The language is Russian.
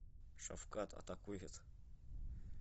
шавкат атакует